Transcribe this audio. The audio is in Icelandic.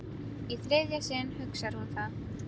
Í þriðja sinn hugsar hún það.